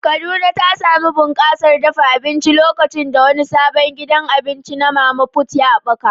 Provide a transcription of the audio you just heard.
Kaduna ta sami bunƙasar dafa abinci lokacin da wani sabon gidan abinci na mama put ya haɓaka.